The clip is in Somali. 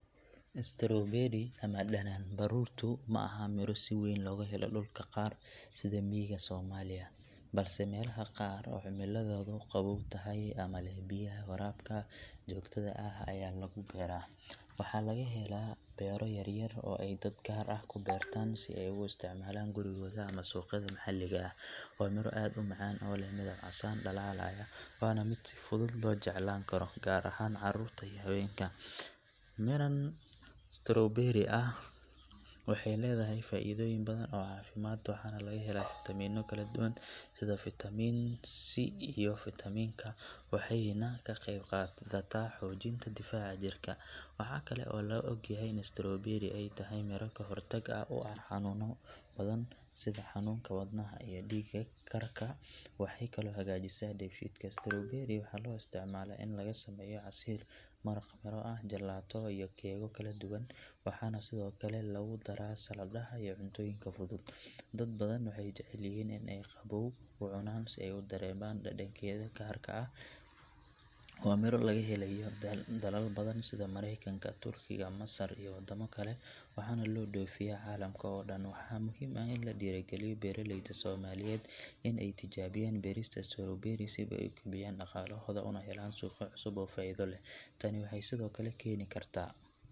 Strawberry ama dhanaanbaruurtu ma aha miro si weyn looga helo dhulka qaar sida miyiga Soomaaliya, balse meelaha qaar oo cimilladoodu qabow tahay ama leh biyaha waraabka joogtada ah ayaa lagu beeraa. Waxaa laga helaa beero yar yar oo ay dad gaar ah ku beertaan si ay ugu isticmaalaan gurigooda ama suuqyada maxalliga ah. Waa miro aad u macaan oo leh midab casaan dhalaalaya waana mid si fudud loo jeclaan karo gaar ahaan carruurta iyo haweenka. Midhan strawberry ah waxay leedahay faa’iidooyin badan oo caafimaad waxaana laga helaa fitamiino kala duwan sida fitamiin si iyo fitamiin ka waxayna ka qayb qaadataa xoojinta difaaca jirka. Waxaa kale oo la og yahay in strawberry ay tahay miro ka hortag u ah xanuunno badan sida xanuunka wadnaha iyo dhiig karka waxay kaloo hagaajisaa dheefshiidka. Strawberry waxaa loo isticmaalaa in laga sameeyo casiir, maraq miro ah, jalaato iyo keegyo kaladuwan waxaana sidoo kale lagu daro saladaha iyo cuntooyinka fudud. Dad badan waxay jecel yihiin in ay qabbow u cunaan si ay u dareemaan dhadhankeeda gaarka ah. Waa miro laga helay dalal badan sida Maraykanka, Turkiga, Masar iyo wadamo kale waxaana loo dhoofiyaa caalamka oo dhan. Waxaa muhiim ah in la dhiirrigeliyo beeraleyda Soomaaliyeed in ay tijaabiyaan beerista strawberry si ay u kobciyaan dhaqaalahooda una helaan suuqyo cusub oo faa’iido leh. Tani waxay sidoo kale keeni kartaa.